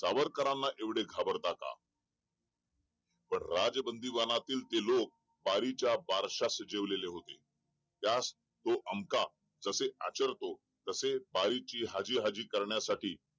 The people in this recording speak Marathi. सावरकरांना एवढे घाबरता का पण राज बंदीवानांचे ते लोक पारीच्या बारशास शिजवले होते त्यात तो आमका तसे आचरतो तसे बारीची हाजी हाजी करण्यासाठी